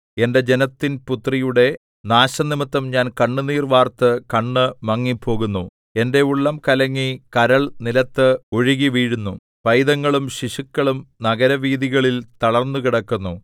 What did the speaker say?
എന്റെ ജനത്തിൻപുത്രിയുടെ നാശംനിമിത്തം ഞാൻ കണ്ണുനീർ വാർത്ത് കണ്ണ് മങ്ങിപ്പോകുന്നു എന്റെ ഉള്ളം കലങ്ങി കരൾ നിലത്ത് ഒഴുകിവീഴുന്നു പൈതങ്ങളും ശിശുക്കളും നഗരവീഥികളിൽ തളർന്നുകിടക്കുന്നു